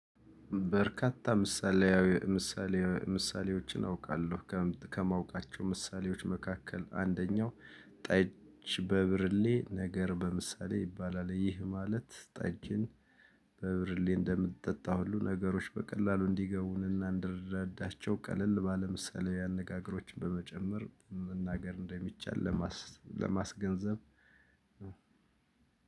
በርካታ ምሳሌያዊ ምሳሌ ምሳሌዎችን አውቃለሁ። ከማውቃቸው ምሳሌዎች መካከል አንደኛው ጠጅ በብርሌ ነገር በምሳሌ ይባላል። ይህ ማለት ጠጅን በብርሌ እንደምትጠጣው ሁሉ ነገሮች በቀላሉ እንዲገቡንና እንድንረዳቸው ቀለል ባለ ምሳሌ አነጋገሮችን በመጨመር መናገር እንደሚቻል። ለማስገንዘብ